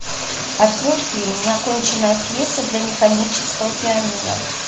открой фильм неоконченная пьеса для механического пианино